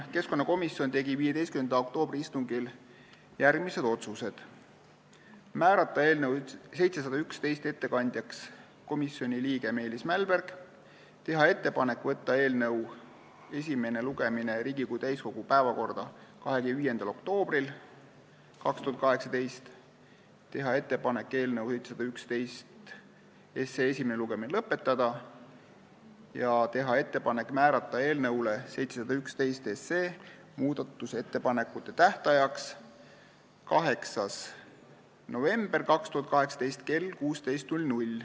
Keskkonnakomisjon tegi 15. oktoobri istungil järgmised otsused: määrata ettekandjaks komisjoni liige Meelis Mälberg, teha ettepanek võtta eelnõu esimene lugemine Riigikogu täiskogu päevakorda 25. oktoobriks 2018, teha ettepanek eelnõu esimene lugemine lõpetada ja teha ettepanek määrata eelnõu 711 muudatusettepanekute tähtajaks 8. november 2018 kell 16.